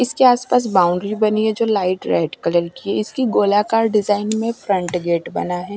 इसके आसपास बाउंड्री बनी है जो लाइट रेड कलर की है इसकी गोलाकार डिजाइन में फ्रंट गेट बना है।